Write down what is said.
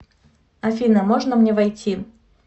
афина можно мне войти